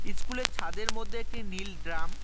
School -এর ছাদের মদ্যে একটি নীল ড্রাম ।